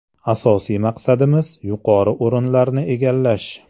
Asosiy maqsadimiz yuqori o‘rinlarni egallash.